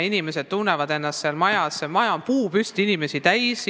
Inimesed tunnevad ennast seal hästi, maja on puupüsti inimesi täis.